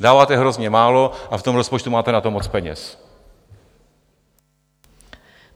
Dáváte hrozně málo a v tom rozpočtu máte na to moc peněz.